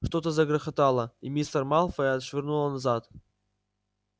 что-то загрохотало и мистера малфоя отшвырнуло назад